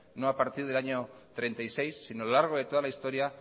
no ha partir del año treinta y seis sino a lo largo de toda la historia